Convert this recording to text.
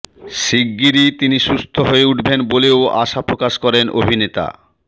শিগগিরই তিনি সুস্থ হয়ে উঠবেন বলেও আশা প্রকাশ করেন অভিনেতা